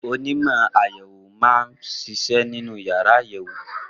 Onímọ̀ àyẹ̀wò máa ń ṣiṣẹ́ nínú yàrá àyẹ̀wò.